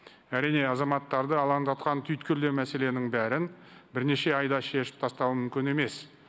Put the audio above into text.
әрине азаматтарды алаңдатқан түйткілді мәселенің бәрін бірнеше айда шешіп тастау мүмкін емес